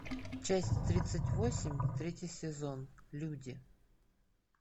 часть тридцать восемь третий сезон люди